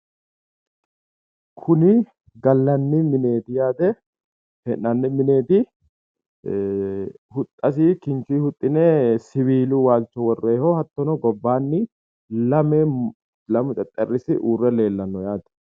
Kuni gallanni mineeti yaate hee'nanni mineeti huxxasi kinchuyi huxxine siwiilu waalcho worrooyiiho hattono gobbaanni lamu xexxerrisi uure leellanno yaate